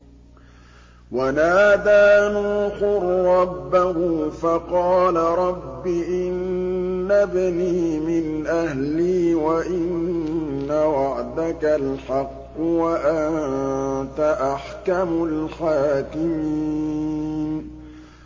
وَنَادَىٰ نُوحٌ رَّبَّهُ فَقَالَ رَبِّ إِنَّ ابْنِي مِنْ أَهْلِي وَإِنَّ وَعْدَكَ الْحَقُّ وَأَنتَ أَحْكَمُ الْحَاكِمِينَ